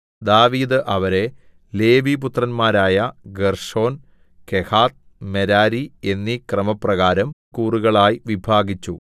ദാവീദ് അവരെ ലേവിപുത്രന്മാരായ ഗേർശോൻ കെഹാത്ത് മെരാരി എന്നീ ക്രമപ്രകാരം കൂറുകളായി വിഭാഗിച്ചു